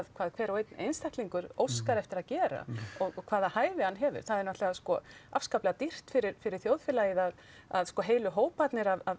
hvað hver og einn einstaklingur óskar eftir að gera og hvaða hæfi hann hefur það er náttúrulega sko afskaplega dýrt fyrir fyrir þjóðfélagið að að sko heilu hóparnir af